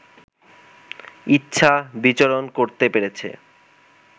ইচ্ছা বিচরণ করতে পেরেছে